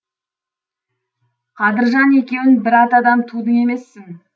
қадыржан екеуің бір атадан тудың емессің